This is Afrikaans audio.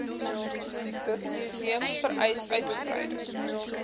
museums vereis uitgebreide